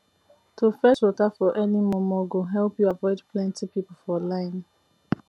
to fetch water for early momo go help u avoid plenty people for line